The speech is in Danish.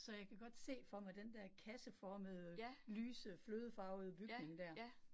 Så jeg kan godt se for mig den dér kasseformede, lyse, flødefarvede bygning dér